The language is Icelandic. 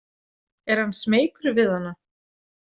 Er hann smeykur við hana?